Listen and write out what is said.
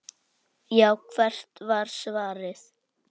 Já, hvert var svarið?